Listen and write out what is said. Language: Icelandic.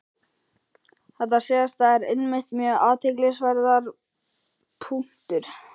Þetta síðasta er einmitt mjög athyglisverður punktur.